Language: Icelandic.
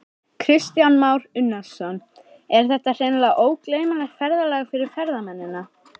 Kristján Már Unnarsson: Er þetta hreinlega ógleymanlegt ferðalag fyrir ferðamennina?